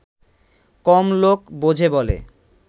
কম লোক বোঝে বলে